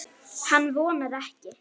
Hann vonar ekki.